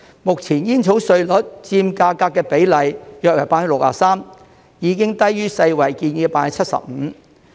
目前煙草稅率佔價格的比例約為 63%， 已低於世界衞生組織建議的 75%。